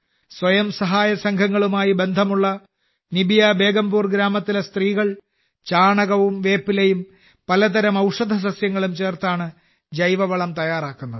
സ്വയംസഹായ സംഘങ്ങളുമായി ബന്ധമുള്ള നിബിയ ബേഗംപൂർ ഗ്രാമത്തിലെ സ്ത്രീകൾ ചാണകവും വേപ്പിലയും പലതരം ഔഷധസസ്യങ്ങളും ചേർത്താണ് ജൈവവളം തയ്യാറാക്കുന്നത്